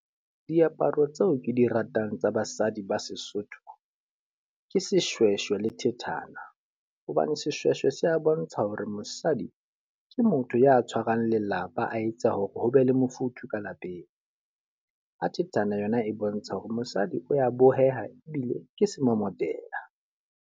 Diaparo tseo ke di ratang tsa basadi ba Sesotho, ke seshweshwe le thethana. Hobane seshweshwe se a bontsha hore mosadi ke motho ya tshwarang lelapa, a etsa hore ho be le mofuthu ka lapeng. Ha thethana yona e bontsha hore mosadi o ya boheha ebile ke semomotela.